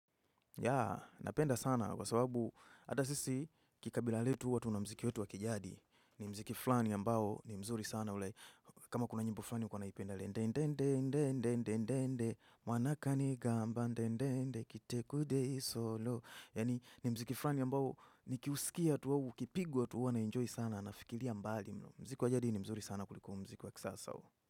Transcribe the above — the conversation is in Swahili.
Ya, napenda sana kwa sababu hata sisi kikabila letu huwa tuna mziki wetu wa kijadi. Ni muziki flani ambao ni mzuri sana ule. Kama kuna nyimbo fulani hukuwa naipenda le. Ndende, ndende, ndende, ndende, mwanaka ni gamba, ndende ndende, kite kude solo. Yaani ni muziki fulani ambao nikiusikia tu wawu, ukipigwa tu wanaenjoy sana na fikiria mbali. Muziki wa jadi ni mzuri sana kuliku muziki wa kisasa.